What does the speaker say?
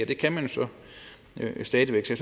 det kan man så stadig væk så